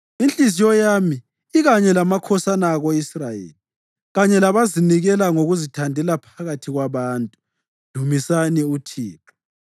Inhliziyo yami ikanye lamakhosana ako-Israyeli, kanye labazinikela ngokuzithandela phakathi kwabantu. Dumisani uThixo!